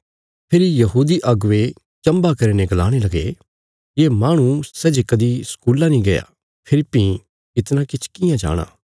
फेरी यहूदी अगुवे चम्भा करीने गलाणे लगे ये माहणु सै जे कदीं स्कूला नीं गया फेरी भीं इतणा किछ कियां जाणाँ